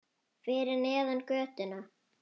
Fyrir neðan götuna.